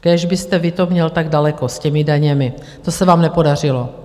Kéž byste vy to měl tak daleko s těmi daněmi, to se vám nepodařilo.